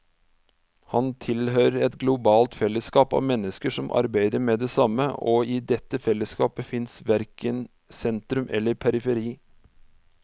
Han tilhører et globalt fellesskap av mennesker som arbeider med det samme, og i dette fellesskapet fins verken sentrum eller periferi.